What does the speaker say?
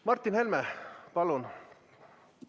Martin Helme, palun!